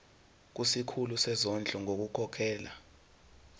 kusikhulu sezondlo ngokukhokhela